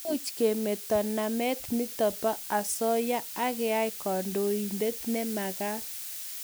Much kemeto namet nitok nebo asoya akeyai kandoinantet ne magat